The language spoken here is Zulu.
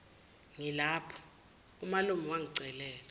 ngilapho umalume wangicelela